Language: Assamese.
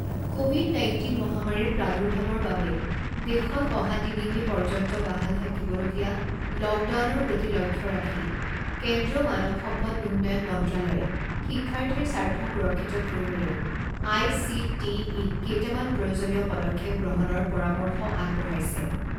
ক'ভিড নাইণ্টিন মহামাৰীৰ প্ৰাদুৰ্ভাৱৰ বাবে দেশত অহা তিনি মে' পৰ্যন্ত বাহাল থাকিবলগীয়া লকডাউনৰ প্ৰতি লক্ষ্য ৰাখি কেন্দ্ৰীয় মানৱ সম্পদ উন্নয়ন মন্ত্ৰালয়ে শিক্ষাৰ্থীৰ স্বাৰ্থ সুৰক্ষিত কৰিবলৈ আএইচিটিইক কেইটামান প্ৰয়োজনীয় পদক্ষেপ গ্ৰহণৰ পৰামৰ্শ আগবঢ়াইছে।